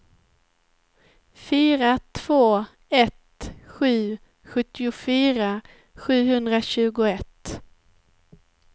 fyra två ett sju sjuttiofyra sjuhundratjugoett